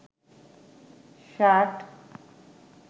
shirt